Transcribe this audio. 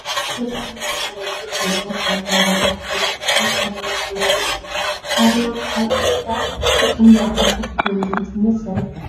አበ ሃገርናንመጀመሪያ ግዜ ፕሬዚዳንት ካብ ዝነበራ መራሕቲ ደቂ አንስትዮ ሓንቲ ሳህለ ወርቂ ሳህለ እያ። ሳህለ ወርቅ አብ ኢትዮጲያ ንክንደይ ዓመት ብፕሬዚዳንት ሰሪሐን?